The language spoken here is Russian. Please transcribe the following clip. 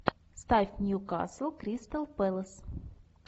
ставь ньюкасл кристал пэлас